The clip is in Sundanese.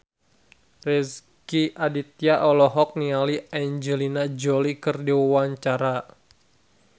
Rezky Aditya olohok ningali Angelina Jolie keur diwawancara